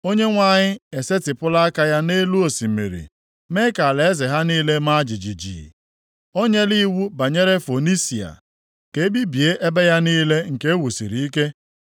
Onyenwe anyị esetipụla aka ya nʼelu osimiri mee ka alaeze ha niile maa jijiji. O nyela iwu banyere Fonisia + 23:11 Ya bụ, Kenan ka e bibie ebe ya niile nke wusiri ike.